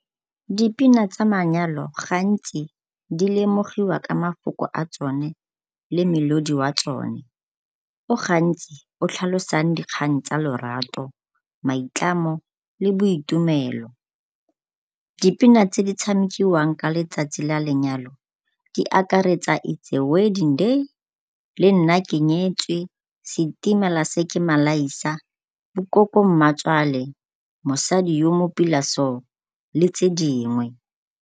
Dipina tsa manyalo gantsi di lemogiwa ka mafoko a tsone le melodi wa tsone o gantsi o tlhalosang dikgang tsa lorato, maitlamo le boitumelo. Dipina tse di tshamikiwang ka letsatsi la lenyalo di akaretsa it's a wedding day, le nna ke nyetswe, setimela se ke malaisa, koko mmatswale, mosadi o mo pila so le tse dingwe.